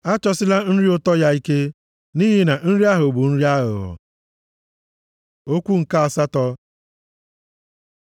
Achọsila nri ụtọ ya ike, nʼihi na nri ahụ bụ nri aghụghọ. Okwu nke asatọ